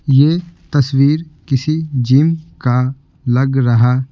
यह तस्वीर किसी जिम का लग रहा---